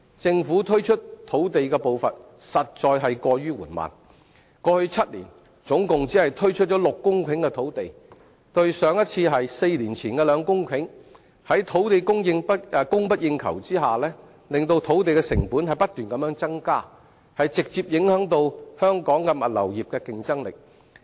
政府推出土地的步伐實在過於緩慢，過去7年，總共只推出6公頃的土地，上一次是4年前的2公頃土地，在土地供不應求的情況下，令土地成本不斷增加，直接影響香港物流業的競爭力。